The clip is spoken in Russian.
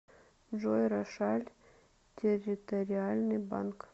джой рошаль территориальный банк